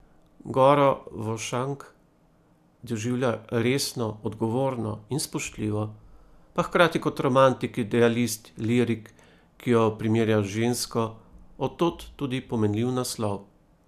Goro Vošank doživlja resno, odgovorno in spoštljivo, pa hkrati kot romantik, idealist, lirik, ki jo primerja z žensko, od tod tudi pomenljiv naslov.